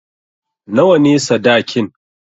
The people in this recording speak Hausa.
Nawa ne sadakin?